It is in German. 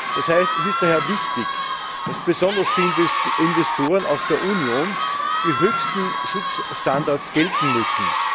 Das heißt, es ist daher wichtig, dass besonders für Investoren aus der Union die höchsten Schutzstandards gelten müssen.